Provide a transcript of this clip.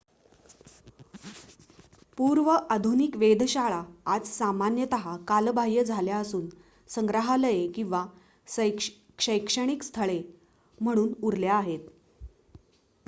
पूर्व-आधुनिक वेधशाळा आज सामान्यत कालबाह्य झाल्या असून संग्रहालये किंवा शैक्षणिक स्थळे म्हणून उरल्या आहेत